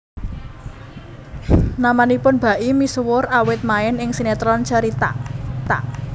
Namanipun Baim misuwur awit main ing sinetron Cerita